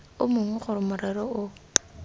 o mongwe gore morero o